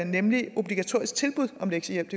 nemlig de obligatoriske tilbud om lektiehjælp